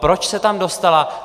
Proč se tam dostala?